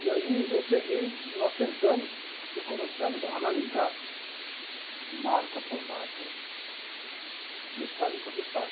E aí eu peguei, nós sentamos e começamos a analisar marca por marca, detalhe por detalhe.